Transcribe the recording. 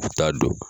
U t'a don